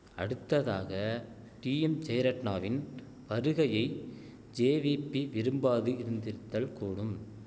அடுத்ததாக டீஎம் ஜெயரட்ணாவின் வருகையை ஜேவீபி விரும்பாது இருந்திருத்தல் கூடும்